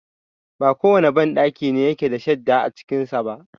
ba kowane banɗaki ne yake da shadda a cikinsa ba.